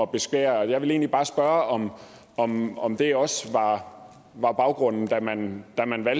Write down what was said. beskære jeg vil egentlig bare spørge om om det også var baggrunden da man